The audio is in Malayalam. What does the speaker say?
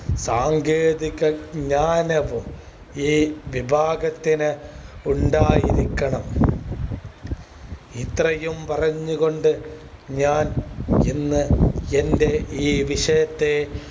സാങ്കേതിക ജ്ഞാനവും ഈ വിഭാഗത്തിന് ഉണ്ടായിരിക്കണം ഇത്രയും പറഞ്ഞു കൊണ്ട് ഞാൻ ഇന്ന് എന്റെ ഈ വിഷയത്തെ